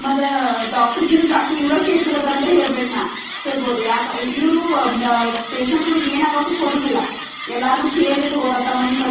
ಮತ್ತ ಆಆ ಡಾಕ್ಟರ್ ಕಿಂತ ಇವರಾ ಜಾಸ್ತಿ ಇವ್ರ ಕೇರ್ ತಗೋಂತಾರ ಹೇಳ್ಬೇಕ್ನಾ ಹೇಳ್ಬೊದು ಯಕ ಅ ಇವ್ರೂ ಆ ಮ್ ಆಆ ಪೇಷಂಟ್ ಗುಳಿಗ್ ಎನಾಗಕ್ಕೂ ಕೊಡುದಿಲ್ಲ ಎಲ್ಲಾರ್ನೂ ಕೇರ್ಲೆ ತಗೋತಾರ ತಂ ಮನಿ ಪರಿ --